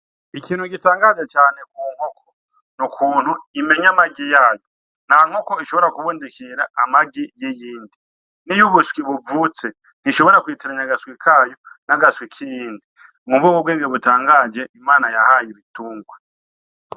Ikintu gitangaje ku nkoko n' ukuntu imenya amagi yazo nta nkoko ishobora kubundikira amagi y' iyindi niyo buvutse ntishobora kwitiranya agaswi kayo n' agaswi k'iyindi harimwo ubu nibwo bwenge butangaje Imana yataye ibitungwa.